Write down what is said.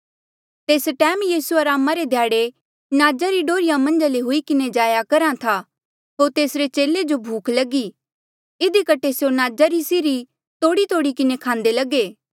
तेस टैम यीसू अरामा रे ध्याड़े नाजा री डोहर्रिया मन्झा ले हुई किन्हें जाया करहा था होर तेसरे चेले जो भूख लगी इधी कठे स्यों नाजा री सीरी तोड़ीतोड़ी किन्हें खांदे लगे